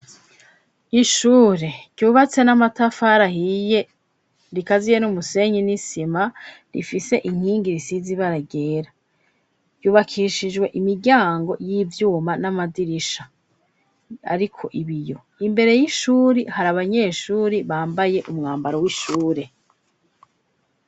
Ishure ryubatse n'amatafari ahiye rikaziye n'umusenyi n'isima rifise inkingi risize ibara ryera yubakishijwe imiryango y'ivyuma n'amadirisha ariko ibiyo imbere y'ishuri hari abanyeshuri bambaye umwambaro w'ishure.